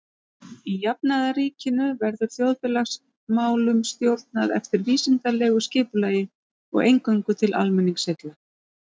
Í jafnaðarríkinu verður þjóðfélagsmálunum stjórnað eftir vísindalegu skipulagi og eingöngu til almenningsheilla.